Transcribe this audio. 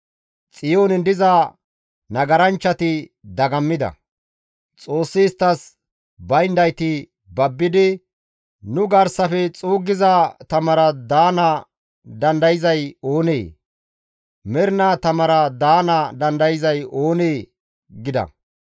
Xiyoonen diza nagaranchchati dagammida; Xoossi isttas bayndayti babbidi, «Nu garsafe xuuggiza tamara daana dandayzay oonee? Mernaa tamara daana dandayzay oonee?» gida.